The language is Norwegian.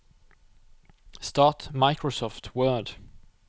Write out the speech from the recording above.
start Microsoft Word